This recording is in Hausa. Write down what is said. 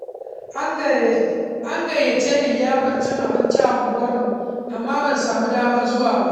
An gayyace ni liyafar cin abinci a unguwarmu, amma ban samu damar zuwa ba.